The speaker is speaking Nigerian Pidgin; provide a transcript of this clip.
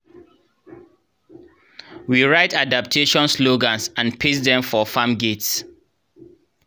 we write adaptation slogans and paste dem for farm gates